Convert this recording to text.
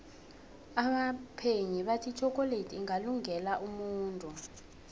abaphenyi bathi itjhokoledi ingalunge la umuntu